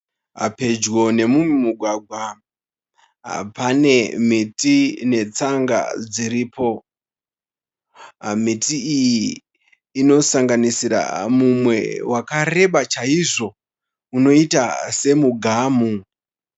Pedyo nemumwe mugwagwa pane miti netsanga dziripo. Miti iyi inosanganisira mumwe wakareba chaizvo unoita semugamu.